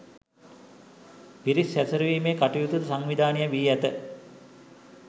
පිරිස් හැසිරවීමේ කටයුතුද සංවිධානය වී ඇත